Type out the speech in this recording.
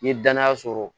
N ye danaya sɔrɔ